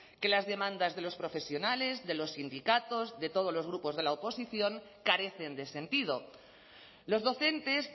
que las demandas de los profesionales de los sindicatos de todos los grupos de la oposición carecen de sentido los docentes